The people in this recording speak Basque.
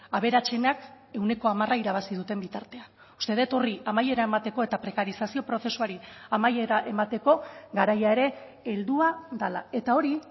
aberatsenak ehuneko hamara irabazi duten bitartean uste dut horri amaiera emateko eta prekarizazio prozesuari amaiera emateko garaia ere heldua dela eta hori